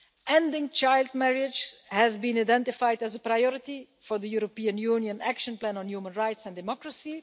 Ending child marriage has been identified as a priority for the European Union action plan on human rights and democracy.